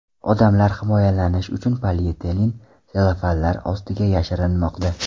Odamlar himoyalanish uchun polietilen sellofanlar ostiga yashirinmoqda.